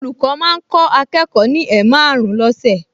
Olùkọ́ máa ń kọ́ akẹ́kọ̀ọ ní ẹ̀maàrún lọ́sẹ̀